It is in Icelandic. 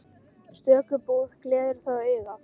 Stöku búð gleður þó augað.